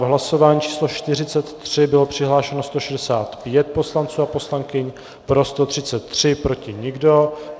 V hlasování číslo 43 bylo přihlášeno 165 poslanců a poslankyň, pro 133, proti nikdo.